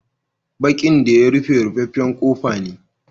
Bakin da ya rufe, ruffafen kofa ne.